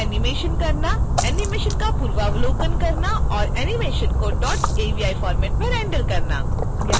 animation का पूर्वावलोकन करना और एनीमेशन को avi फ़ॉर्मैट में रेंडर करना